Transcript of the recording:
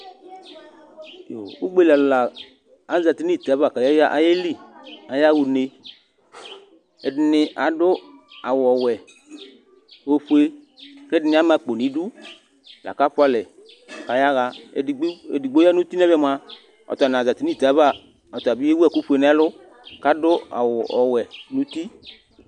Ʋgbeli ɔlu la azɛti nʋ ite ava kʋ ayeli, ayaha ʋne Ɛdiní adu awu ɔwɛ, ɔfʋe kʋ ɛdiní ama akpo nʋ idu laku afʋa alɛ kʋ ayaha Ɛdigbo ya nʋ ʋti nʋ ɛmɛ mʋa ɔta nazɛti nʋ ite ava Ɔta bi ewu ɛku fʋe nʋ ɛlu kʋ adu awu ɔwɛ nʋ ʋti